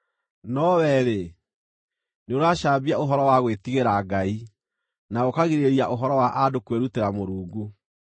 No wee-rĩ, nĩũracambia ũhoro wa gwĩtigĩra Ngai, na ũkagirĩrĩria ũhoro wa andũ kwĩrutĩra Mũrungu.